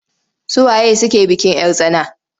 Su waye suke bikin 'yar tsana?